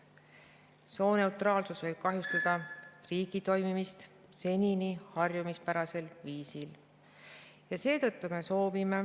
Sooneutraalsus võib kahjustada riigi senisel harjumuspärasel viisil toimimist.